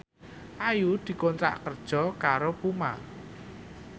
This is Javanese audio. Ayu dikontrak kerja karo Puma